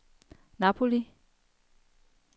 Napoli